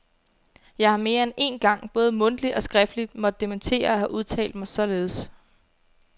Jeg har mere end én gang både mundtligt og skriftligt måtte dementere at have udtalt mig således.